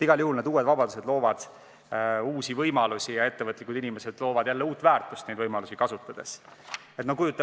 Igal juhul loovad need uued vabadused uusi võimalusi ja ettevõtlikud inimesed loovad neid võimalusi kasutades jällegi uut väärtust.